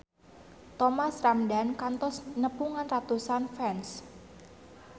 Thomas Ramdhan kantos nepungan ratusan fans